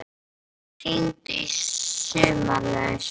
Vilhjálmur, hringdu í Sumarlausu.